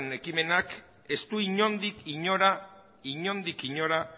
hamabigarren ekimenak ez du inondik inora